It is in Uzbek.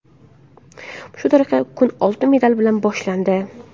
Shu tariqa kun oltin medal bilan boshlandi.